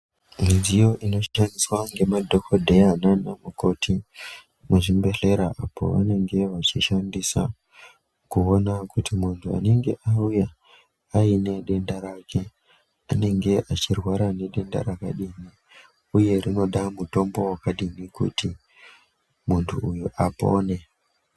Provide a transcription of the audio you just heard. Midziyo inoshandiswa ngemadhokodhera nana mukoti muzvimbehlera apo vanenge vachishandisa kuona kuti muntu anenge auya aine denda rake anenge achirwara nedenda rakadini uye rinoda mutombo vakadini kti muntu uyu apone .